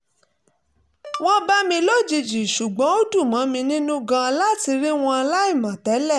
wọ́n bá mi lójijì ṣùgbọ́n ó dùn mọ́ mi nínú gan-an láti rí wọn láìmọ̀ tẹ́lẹ̀